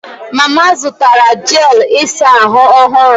Mama zụtara jel ịsa ahụ ọhụrụ